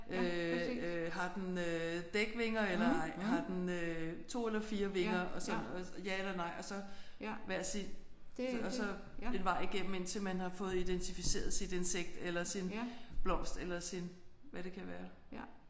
Øh øh har den øh dækvinger eller har den øh 2 eller 4 vinger og sådan noget ja eller nej og så hver sit og så en vej igennem indtil man har fået identificeret sit insekt eller sin blomst eller sin hvad det kan være